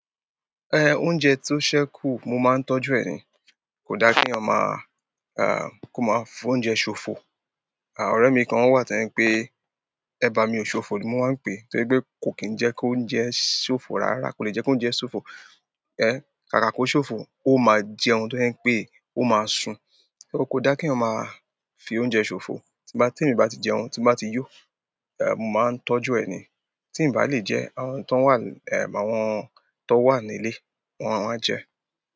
Ẹn, oúnjẹ tó ṣẹ́kù mo máa ń tọ́jú ẹni. Kò dára kéèyàn máa, ẹǹ kó máa fi oúnjẹ sòfò. À, ọ̀rẹ́ mi kan wà tójẹ́ ń pe, "Ẹ bá mi ò ṣòfò" ló máa ń pè. Torí pé kò kín jẹ́ kó ń jẹ ṣòfò rárá, kò lè jẹ́ kó ń jẹ ṣòfò. Eh, kàkà kó ṣòfò, ó máa jẹun tójẹ́ ń pé, ó máa sun. Kí ó kó da kí ọmọ máa fi oúnjẹ ṣòfò. Tí bá, tí èmi bá ti jẹun, tí m bá ti yó, ẹǹ, mo máa ń tọ́jú ẹ̀ ni. Tí ǹ bá lè jẹ́, àwọn tó wà, ẹǹ, àwọn tó wà nílé, wọ́n á jẹ.